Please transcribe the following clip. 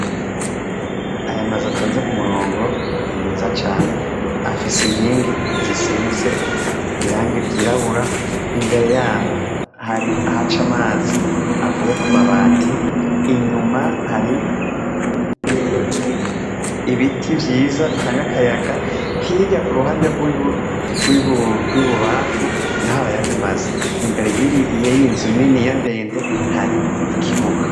Aya amazi atonze ku murongo ni meza cane afise inkingi zisize irangi ryirabura imbere yaho hari aha co amazi avuye ku mabati inyuma hari ibiti vyiza bitanga akayaga hirya kuruhana de rwibubafu na ho arayandi masi imbere yiri iye yinzu nini ya ndende hari ikibuga.